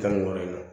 Tan ni wɔɔrɔ in na